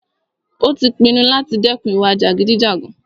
Ó tí pinnu láti dẹ́kun ìwà jàgídíjàgan.